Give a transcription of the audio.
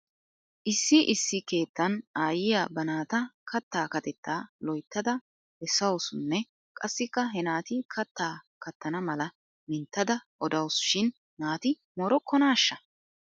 Issi issi keettan aayyiyaa ba naata kattaa katettaa loyttada bessawusunne qassikka he naati kattaa kattana mala minttada odawusu shin naati moorokkonaash?